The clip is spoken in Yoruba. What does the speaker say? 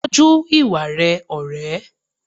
Tọ́jú ìwà rẹ ọ̀rẹ́.